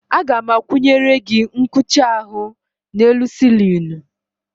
Aga m akwụnyere gị nkucha ahụ n'elu sịlịnụ.